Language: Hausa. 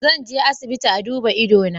Zan je asibiti a duba ido na.